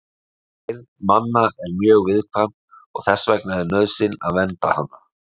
Heyrn manna er mjög viðkvæm og þess vegna er nauðsyn að vernda hana.